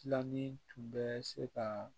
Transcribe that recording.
Tilanin tun bɛ se ka